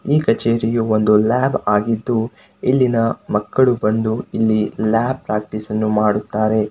ಈ ಕಚೇರಿಯು ಒಂದು ಲ್ಯಾಬ್ ಆಗಿದ್ದು ಇಲ್ಲಿನ ಮಕ್ಕಳು ಬಂದು ಇಲ್ಲಿ ಲ್ಯಾಬ್ ಪ್ರಾಕ್ಟೀಸ್ ಅನ್ನು ಮಾಡುತ್ತಾರೆ.